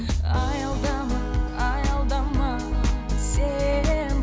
аялдама аялдама сен